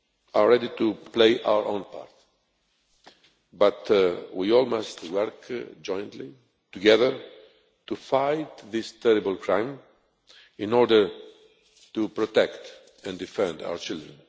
are ready to play our own part, but we all must work together to fight this terrible crime in order to protect and defend our children.